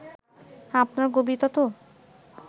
আপনার কবিতা তো